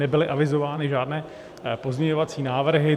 Nebyly avizovány žádné pozměňovací návrhy.